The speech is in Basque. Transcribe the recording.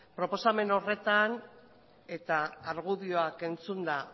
proposamen horretan eta argudioak entzunda